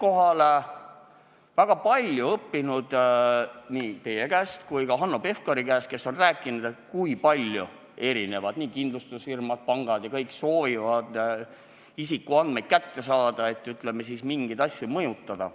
Ma olen väga palju õppinud nii teie käest kui ka Hanno Pevkuri käest, kes on rääkinud, et näiteks kindlustusfirmad ja pangad võivad soovida isikuandmeid kätte saada, et, ütleme siis, mingeid asju mõjutada.